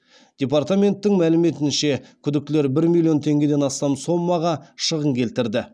департаменттің мәліметінше күдіктілер бір миллион теңгеден астам сомаға шығын келтірді